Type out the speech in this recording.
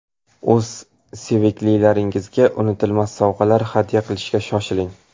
O‘z seviklilaringizga unutilmas sovg‘alar hadya qilishga shoshiling.